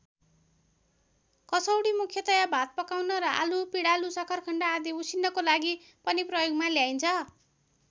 कसौडी मूख्यतया भात पकाउन र आलु पिडालु सक्खरखण्ड आदि उसिन्नको लागि पनि प्रयोगमा ल्याइन्छ।